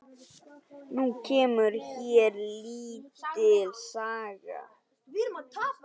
Nú kemur hér lítil saga.